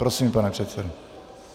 Prosím, pane předsedo.